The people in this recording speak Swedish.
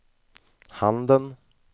handen